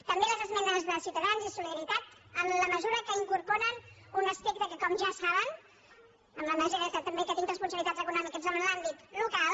també a les esmenes de ciutadans i de solidaritat en la mesura que incorporen un aspecte que com ja saben i en la mesura també que tinc responsabilitats econòmiques en l’àmbit local